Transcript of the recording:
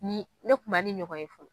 Ni ne kun ma ni ɲɔgɔn ye fɔlɔ